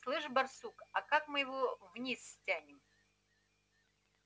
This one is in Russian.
слышишь барсук а как мы его вниз стянем